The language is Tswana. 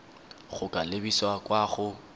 go ka lebisa kwa go